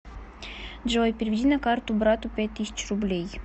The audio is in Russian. джой переведи на карту брату пять тысяч рублей